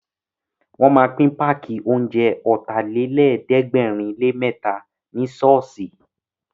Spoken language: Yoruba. Wọ́n ma pín páàkì oúnjẹ Ọ̀tàlélẹ̀ẹ́dẹ́gbẹ̀rinlémẹ́ta ní ṣọ́ọ̀ṣì